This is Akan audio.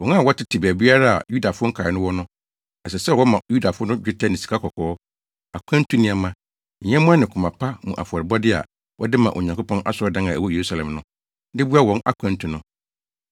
Wɔn a wɔtete baabiara a Yudafo nkae no wɔ no, ɛsɛ sɛ wɔma Yudafo no dwetɛ ne sikakɔkɔɔ, akwantu nneɛma, nyɛmmoa ne koma pa mu afɔrebɔde a wɔde ma Onyankopɔn asɔredan a ɛwɔ Yerusalem no, de boa wɔn akwantu no.